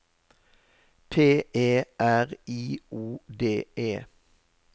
P E R I O D E